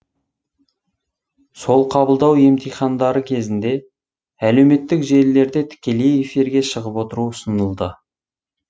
сол қабылдау емтихандары кезінде әлеуметтік желілерде тікелей эфирге шығып отыру ұсынылды